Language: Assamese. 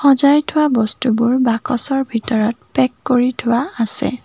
সজাই থোৱা বস্তুবোৰ বাকচৰ ভিতৰত পেক কৰি থোৱা আছে।